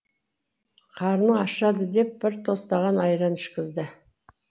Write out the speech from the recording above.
қарның ашады деп бір тостаған айран ішкізді